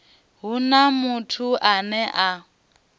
hu na muthu ane a